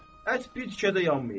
Ət bir tikə də yanmayıb.